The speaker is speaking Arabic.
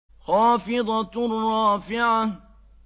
خَافِضَةٌ رَّافِعَةٌ